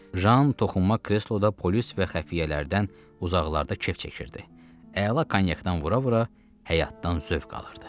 Jan toxunma kresloda polis və xəfiyyələrdən uzaqlarda kef çəkirdi, əla konyakdan vura-vura həyatdan zövq alırdı.